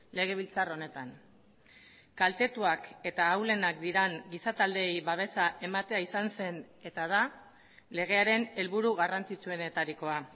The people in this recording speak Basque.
legebiltzar honetan kaltetuak eta ahulenak diren giza taldeei babesa ematea izan zen eta da legearen helburu garrantzitsuenetarikoa